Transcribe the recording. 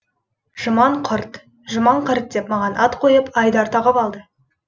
жұман қырт жұман қырт деп маған ат қойып айдар тағып алды